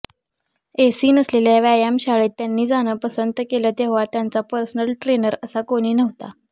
AC नसलेल्या व्यायामशाळेत त्यांनी जाणं पसंत केलं तेव्हा त्यांचा पर्सनल ट्रेनर असा कोणी नव्हता